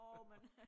Jo men